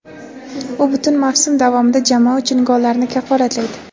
U butun mavsum davomida jamoa uchun gollarni kafolatlaydi;.